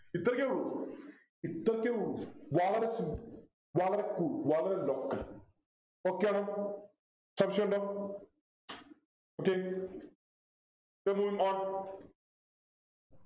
ഇത്രക്കെ ഉള്ളു ഇത്രക്കെ ഉള്ളു വളരെ simple വളരെ simple വളരെ local okay ആണോ സംശയുമുണ്ടോ okay so moving on